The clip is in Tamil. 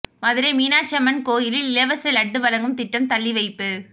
மதுரை மீனாட்சி அம்மன் கோயிலில் இலவச லட்டு வழங்கும் திட்டம் தள்ளிவைப்பு